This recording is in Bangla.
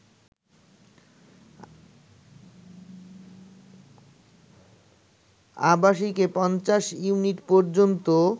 আবাসিকে ৫০ ইউনিট পর্যন্ত